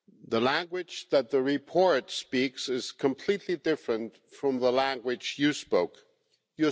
The language that the report speaks is completely different from the language you spoke, Ms Mogherini.